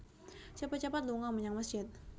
Cepet cepet lunga menyang mesjid